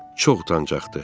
Çox utancaqdı.